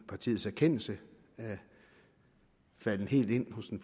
partiets erkendelse er faldet helt ind hos den